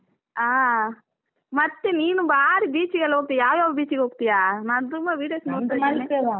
ಆಹ್, ಮತ್ತೆ ನೀನು ಬಾರಿ beach ಗೆಲ್ಲ ಹೋಗ್ತಿಯ ಯಾವ್ಯಾವ beach ಗೆ ಹೋಗ್ತಿಯಾ ನಾನು ತುಂಬ videos .